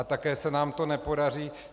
A také se nám to nepodaří.